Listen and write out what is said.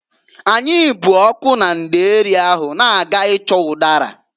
Anyị bụ ọkụ na ndeeri ahụ na-aga ịchọ ụdara.